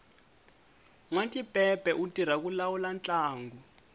nwatipepe u tirha ku lawula ntlangu